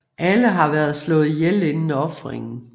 Alle har været slået ihjel inden ofringen